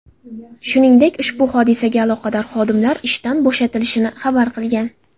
Shuningdek, ushbu hodisaga aloqador xodimlar ishdan bo‘shatilishini xabar qilgan.